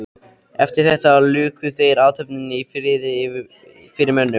Eftir þetta luku þeir athöfninni í friði fyrir mönnum.